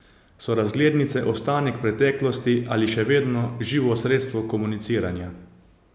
So razglednice ostanek preteklosti ali še vedno živo sredstvo komuniciranja?